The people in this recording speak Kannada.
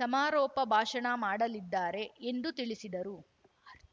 ಸಮಾರೋಪ ಭಾಷಣ ಮಾಡಲಿದ್ದಾರೆ ಎಂದು ತಿಳಿಸಿದರು